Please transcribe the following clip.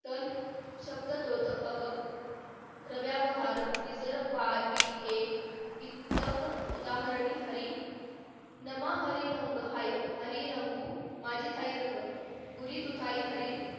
शब्दत्व त अग नव्यावहार निजरब्बीही वित्ताक उदाहरिणी हरी नामाहरिरंगीं हरिरंगु माझी थाई रंग बुरी तुथई हरी